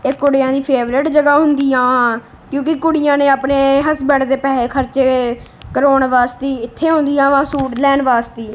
ਇਹ ਕੁੜੀਆਂ ਦੀ ਫੇਵਰੇਟ ਜਗਾਹ ਹੁੰਦੀਯਾਂ ਕਿਉਂਕਿ ਕੁੜੀਆਂ ਨੇਂ ਆਪਣੇਂ ਹਸਬੈਂਡ ਦੇ ਪੈੱਸੇ ਖਰਚੇ ਗਏ ਕਰਾਉਣ ਵਾਸਤੀ ਇੱਥੇ ਅਉਂਦਯਾਵਾਂ ਸੂਟ ਲੈਣ ਵਾਸਤੀ।